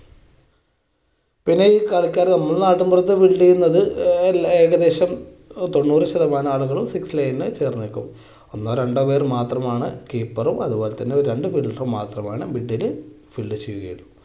പിന്നെ ഈ കളിക്കാര് നമ്മുടെ നാട്ടിൻപുറത്ത് field ചെയ്യുന്നത് ഏ~ഏകദേശം തൊണ്ണൂറ് ശതമാനം ആളുകളും fix line ചേർന്നുനിൽക്കും. ഒന്നോ രണ്ടോ പേര് മാത്രമാണ് keeper റും അതുപോലെതന്നെ രണ്ടുപേര് മാത്രമാണ് middle field ചെയ്യുകയുള്ളൂ.